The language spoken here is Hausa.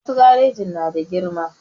Wasu garejin na da girma